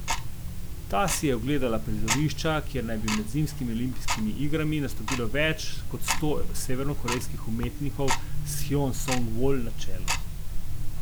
Ta si je ogledala prizorišča, kjer naj bi med zimskimi olimpijskimi igrami nastopilo več kot sto severnokorejskih umetnikov s Hjon Song Vol na čelu.